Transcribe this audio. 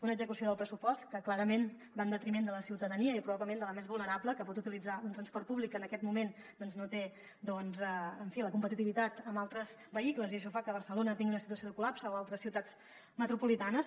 una execució del pressupost que clarament va en detriment de la ciutadania i probablement de la més vulnerable que pot utilitzar un transport públic que en aquest moment no té en fi la competitivitat amb altres vehicles i això fa que barcelona tingui una situació de col·lapse o altres ciutats metropolitanes